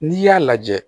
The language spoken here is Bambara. N'i y'a lajɛ